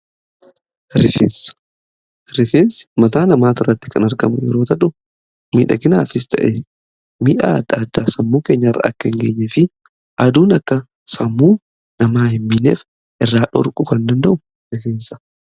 Rifensa: rifeensi mataa namaa irratti kan argamu yeroo ta'u midhaginaafis ta'e miidhaagina addaa sammuu keenya irra akka hin geenye fi aduun akka sammuu namaa hin miineef irraa dhorkuu kan danda'u rifeensadha.